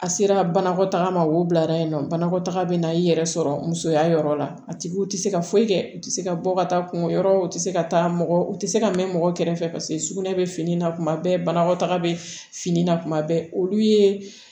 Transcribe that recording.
A sera banakɔtaga ma wo bila yen nɔ banakɔtaga bɛ na i yɛrɛ sɔrɔ musoya yɔrɔ la a tigi tɛ se ka foyi kɛ u tɛ se ka bɔ ka taa kunko yɔrɔw tɛ se ka taa mɔgɔ u tɛ se ka mɛn mɔgɔ kɛrɛfɛ paseke sugunɛ bɛ fini na kuma bɛɛ banakɔtaga bɛ fini na kuma bɛɛ olu ye